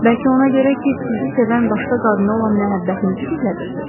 Bəlkə ona görə ki, sizi sevən başqa qadına olan məhəbbətinizi gizlədirsiz?